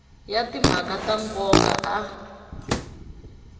ya timhaka ta nkoka a